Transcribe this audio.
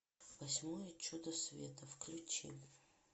восьмое чудо света включи